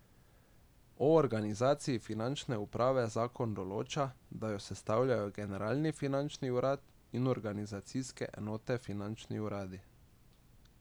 O organizaciji finančne uprave zakon določa, da jo sestavljajo Generalni finančni urad in organizacijske enote finančni uradi.